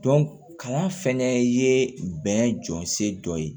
kalan fɛnɛ ye bɛn jɔnsigi dɔ ye